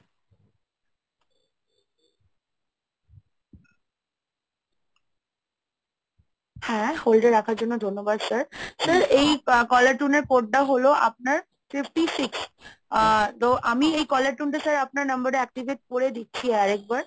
হ্যাঁ hold এ রাখার জন্য ধন্যবাদ sir এই caller tune এর code টা হলো আপনার fifty six, আ তো আমি এই caller tune টা sir আপনার number এ activate করে দিচ্ছি আরেকবার